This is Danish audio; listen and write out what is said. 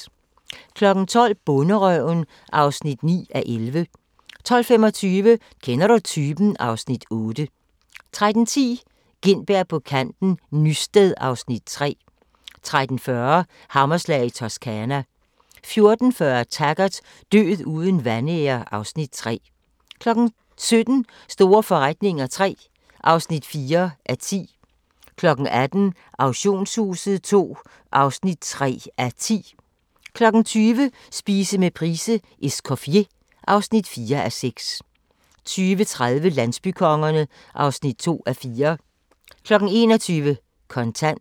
12:00: Bonderøven (9:11) 12:25: Kender du typen? (Afs. 8) 13:10: Gintberg på kanten – Nysted (Afs. 3) 13:40: Hammerslag i Toscana 14:40: Taggart: Død uden vanære (Afs. 3) 17:00: Store forretninger III (4:10) 18:00: Auktionshuset II (3:10) 20:00: Spise med Price:"Escoffier" (4:6) 20:30: Landsbykongerne (2:4) 21:00: Kontant